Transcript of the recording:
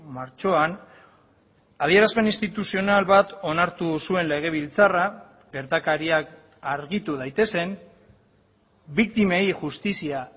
martxoan adierazpen instituzional bat onartu zuen legebiltzarra gertakariak argitu daitezen biktimei justizia